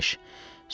Xoş beş.